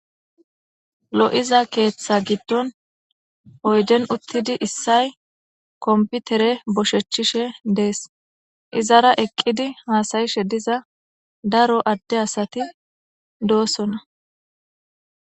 Lo7iza keththa giddon oyden utidi isay kompitere boshechishe des.izara eqidi hasa7ishe diza daro adde asati dosona.